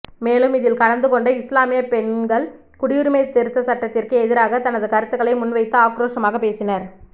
மேலும் இதில் கலந்து கொண்ட இஸ்லாமிய பெண்கள் குடியுரிமை திருத்தச் சட்டத்திற்கு எதிராக தனது கருத்துக்களை முன்வைத்து ஆக்ரோஷமாக பேசினார்